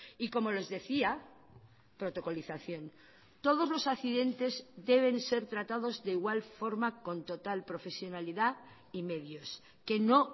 y como les decía protocolización todos los accidentes deben ser tratados de igual forma con total profesionalidad y medios que no